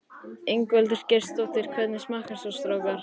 Ingveldur Geirsdóttir: Hvernig smakkast svo strákar?